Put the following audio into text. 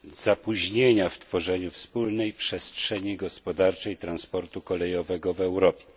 zapóźnienia w tworzeniu wspólnej przestrzeni gospodarczej transportu kolejowego w Europie.